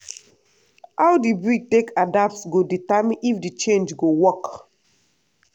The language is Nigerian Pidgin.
how the breed take adapt go determine if the change go work.